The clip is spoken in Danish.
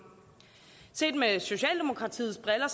set med socialdemokratiets briller